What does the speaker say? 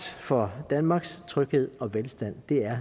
for danmarks tryghed og velstand det er